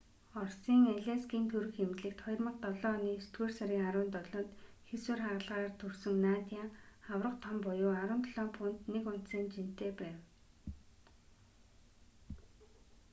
оросын алейскийн төрөх эмнэлэгт 2007 оны есдүгээр сарын 17-нд хийсвэр хагалгаагаар төрсөн надя аварга том буюу 17 фунт 1 унцын жинтэй байв